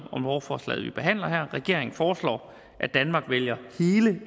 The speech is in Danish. lovforslaget vi behandler her regeringen foreslår at danmark vælger hele